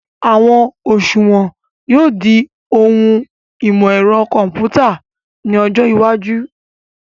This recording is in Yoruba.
Àwọn òṣùwọ̀n yóò di ohun ìmọ̀ ẹ̀rọ kọ̀mpútà ní ọjọ́ iwájú